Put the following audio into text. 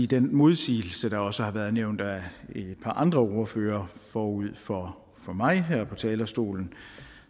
den modsigelse der også har været nævnt af et par andre ordførere forud for mig her på talerstolen at